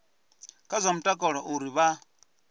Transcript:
kha zwa mutakalo uri vha